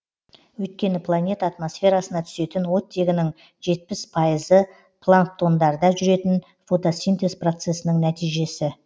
өйткені планета атмосферасына түсетін оттегінің жетпіс пайызы планктондарда жүретін фотосинтез процесінің нәтижесі